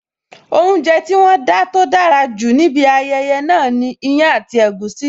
Oúnjẹ tí wón dá tó dára jù níbi ayẹyẹ náà ni iyán àti egusi